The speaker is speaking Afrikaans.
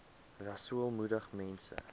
rasool moedig mense